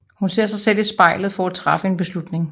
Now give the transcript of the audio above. Hun ser sig selv i spejlet for at træffe en beslutning